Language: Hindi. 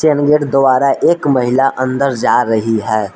गेट द्वारा एक महिला अंदर जा रही है।